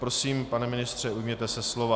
Prosím, pane ministře, ujměte se slova.